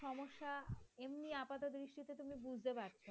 এমনি আপাত দৃষ্টিতে তুমি বুঝতে পারছ।